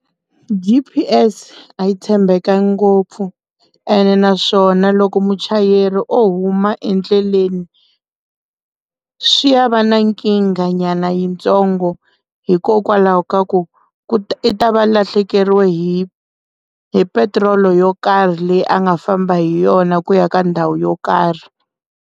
G_p_s a yi tshembekangi ngopfu ene naswona loko muchayeri o huma endleleni swi ya va na nkingha nyana yitsongo hikokwalaho ka ku ku u ta va lahlekeriwe hi hi petirolo yo karhi leyi a nga famba hi yona ku ya ka ndhawu yo karhi.